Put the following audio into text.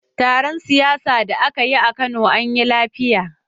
Taron siyasa da aka yi a Kano anyi lafiya.